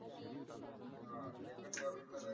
हा डेक्कन corner ला जाईल.